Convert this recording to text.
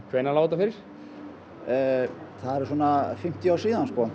hvenær lá þetta fyrir það eru fimmtíu ár síðan